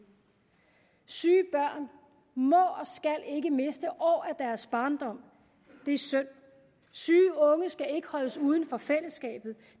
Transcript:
syge børn må og skal ikke miste år af deres barndom det er synd syge unge skal ikke holdes uden for fællesskabet